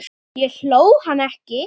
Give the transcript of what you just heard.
Ég hló, hann ekki.